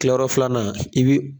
Kila yɔrɔ filanan i bi.